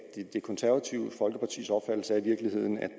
det konservative folkepartis opfattelse i virkeligheden er